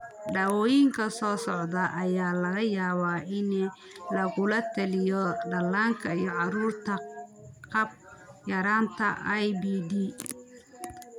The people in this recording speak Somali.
Daawooyinka soo socda ayaa laga yaabaa in lagula taliyo dhallaanka iyo carruurta qaba yaraanta IBD.